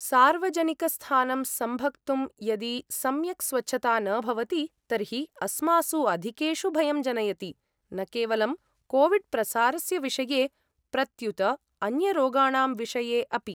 सार्वजनिकस्थानं सम्भक्तुं यदि सम्यक् स्वच्छता न भवति तर्हि अस्मासु अधिकेषु भयं जनयति, न केवलं कोविड्प्रसारस्य विषये प्रत्युत अन्यरोगाणां विषये अपि।